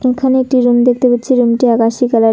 এখানে একটি রুম দেখতে পাচ্ছি রুমটি আকাশী কালারের।